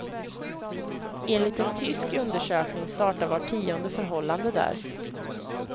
Enligt en tysk undersökning startar vart tionde förhållande där.